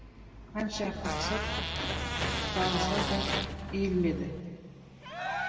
қанша қақсап жалынса да иілмеді